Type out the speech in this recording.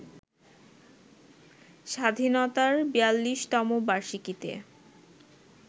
স্বাধীনতার ৪২তম বার্ষিকীতে